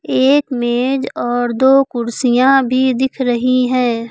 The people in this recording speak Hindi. एक मेज और दो कुर्सियां भी दिख रही हैं।